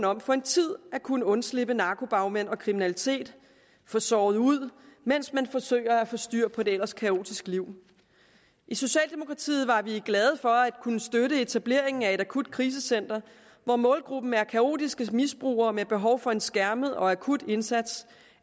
om for en tid at kunne undslippe narkobagmænd og kriminalitet få sovet ud mens man forsøger at få styr på et kaotisk liv i socialdemokratiet var vi glade for at kunne støtte etableringen af et akut krisecenter hvor målgruppen er kaotiske misbrugere med behov for en skærmet og akut indsats